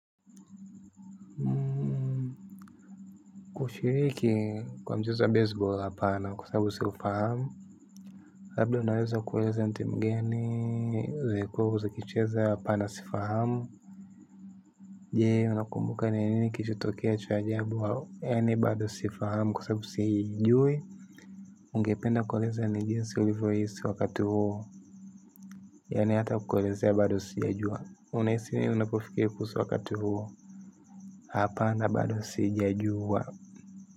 Mmmmh kushiriki kwa mchezo wa base ball hapana kwa sababu siufahamu labda unaweza kueleza ni timu gani zenye ziko huko zikicheza hapana sifahamu je unakumbuka ni nini kilichotokea cha ajabu au yaani bado sifahamu kwa sababu siijui. Ungependa kueleza ni jinsi ulivyohisi wakati huo. Yaani hata kuelezea bado sijajua. Unahisi nini unapofikiria kuhusu wakati huo hapana bado sijajua.